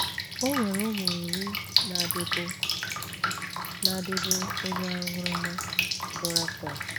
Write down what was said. O nwere ụmụ iri na di bụ́ na di bụ́ onye aṅụrụma, bụ́ Rafael.